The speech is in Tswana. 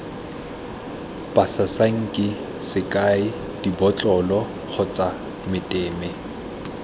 basasanki sekai dibotlolo kgotsa meteme